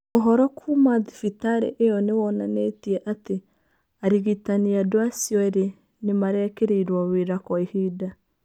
Ũhoro kuuma thibitarĩ ĩyo nĩ wonanĩtie atĩ arigitani andũ acio erĩ nĩ marekereirio wĩra kwa ihinda.